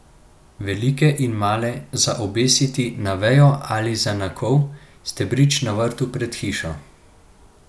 Velike in male, za obesiti na vejo ali za na kol, stebrič na vrtu pred hišo.